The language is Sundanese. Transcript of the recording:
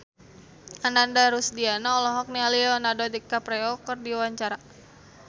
Ananda Rusdiana olohok ningali Leonardo DiCaprio keur diwawancara